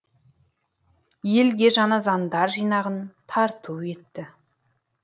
елге жаңа заңдар жинағын тарту етті